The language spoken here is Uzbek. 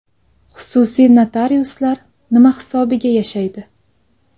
Xususiy notariuslar nima hisobiga yashaydi?